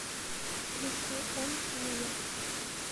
включи он не я